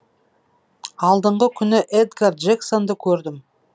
алдыңғы күні эдгар джексонды көрдім